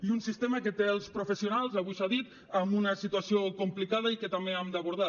i un sistema que té els professionals avui s’ha dit amb una situació complicada i que també hem d’abordar